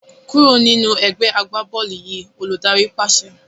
Kúrò nínú ẹgbẹ́ agbá-bọ́ọ́lù yìí! Olùdarí pàṣẹ.